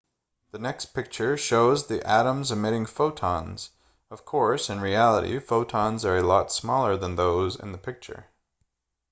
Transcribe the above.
the next picture shows the atoms emitting photons of course in reality photons are a lot smaller than those in the picture